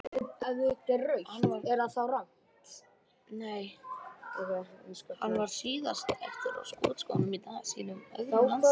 Hann var síðan aftur á skotskónum í dag í sínum öðrum landsleik.